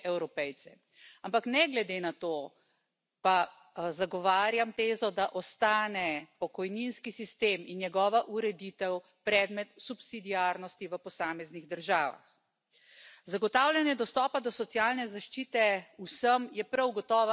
en las pensiones, y también de las personas que trabajan en la agricultura y en el mar y de los autónomos en general poner fin —como digo— a la desigualdad que supondrá mantener pensiones a través de los productos